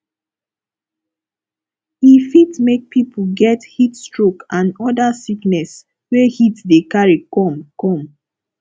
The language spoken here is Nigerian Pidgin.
e fit make pipo get heat stroke and oda sickness wey heat dey carry come come